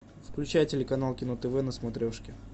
включай телеканал кино тв на смотрешке